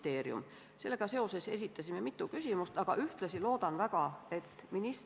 Tuuleenergia arendamine on takistatud kõikjal Eestis juba pikki aastaid, olgu see saartel, läänerannikul, Ida-Virumaal või Liivi lahes.